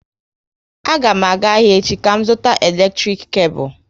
A ga m aga ahịa echi ka m zụta eletrik kebul